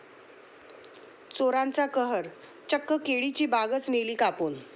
चोराचा कहर, चक्क केळीची बागच नेली कापून!